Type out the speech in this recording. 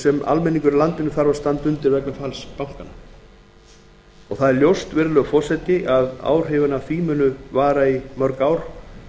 sem almenningur í landinu þarf að standa undir vegna falls bankanna það er ljóst að áhrifin af því munu vara í mörg ár